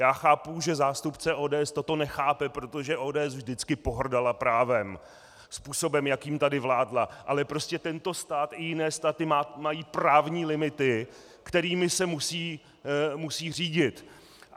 Já chápu, že zástupce ODS toto nechápe, protože ODS vždycky pohrdala právem způsobem, jakým tady vládla, ale prostě tento stát i jiné státy mají právní limity, kterými se musí řídit.